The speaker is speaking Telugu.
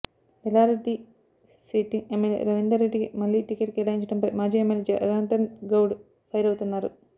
ఎల్లారెడ్డి సిట్టింగ్ ఎమ్మెల్యే రవీందర్రెడ్డికి మళ్లీ టికెట్ కేటాయించడంపై మాజీ ఎమ్మెల్యే జనార్థన్గౌడ్ ఫైర్ అవుతున్నారు